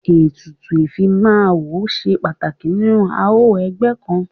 Ètùtù ìfimáwo ṣe pàtàkì nínú àọn ẹgbẹ́ kan..